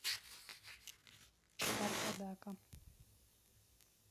аркадака